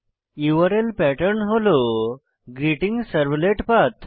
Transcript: URL pattern হল greeting servlet path